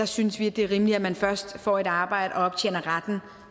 synes vi at det er rimeligt at man først får et arbejde og optjener retten